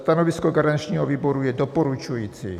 Stanovisko garančního výboru je doporučující.